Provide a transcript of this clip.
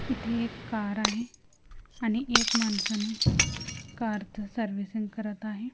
इथे एक कार आहे अणि एक मनसा नी कार थ सर्विसिंग करत आहे.